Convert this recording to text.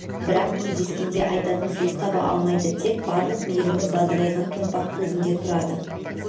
бірақ кездескенде айтатын сөз таба алмайды тек барлық мейірімі бадырайған томпақ көзінде тұрады